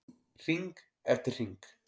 Hring eftir hring.